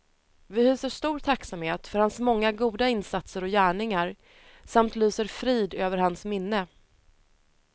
Vi hyser stor tacksamhet för hans många goda insatser och gärningar samt lyser frid över hans minne.